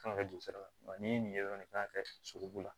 Kan ka kɛ dugusara ni nin ye dɔrɔn ne kan ka kɛ sogobu la